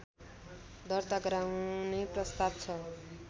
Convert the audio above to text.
दर्ता गराउने प्रस्ताव छ